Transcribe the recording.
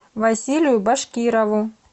василию башкирову